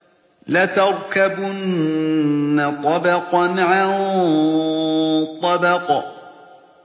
لَتَرْكَبُنَّ طَبَقًا عَن طَبَقٍ